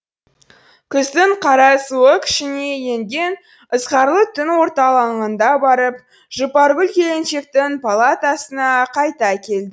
күздің қара суығы күшіне енген ызғарлы түн орталанғанда барып жұпаргүл келіншектің палатасына қайта келді